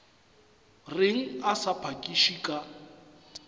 reng a sa phakiše ka